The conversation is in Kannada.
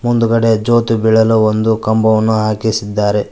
ಮುಂದುಗಡೆ ಜ್ಯೋತಿ ಬೀಳಲು ಒಂದು ಕಂಬವನ್ನು ಹಾಕಿಸಿದ್ದಾರೆ.